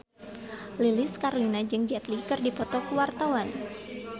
Lilis Karlina jeung Jet Li keur dipoto ku wartawan